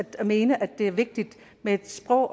mene at det er vigtigt med et sprog